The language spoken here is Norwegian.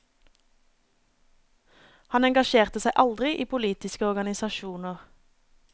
Han engasjerte seg aldri i politiske organisasjoner.